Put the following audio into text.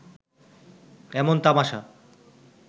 এমন তামাসা